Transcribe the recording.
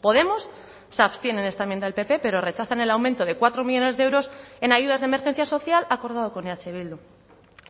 podemos se abstiene en esta enmienda del pp pero rechazan el aumento de cuatro millónes de euros en ayudas de emergencia social acordado con eh bildu